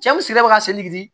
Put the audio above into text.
Cɛw sigira ka